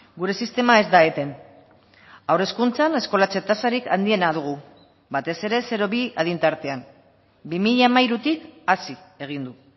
gure sistema ez da eten haur hezkuntzan eskolatze tasarik handiena dugu batez ere zero bi adin tartean bi mila hamairutik hazi egin du